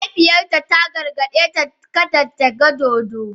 Mahaifiyarta ta gargaɗe ta kada ta gan dodo.